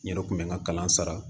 N yɛrɛ kun bɛ n ka kalan sara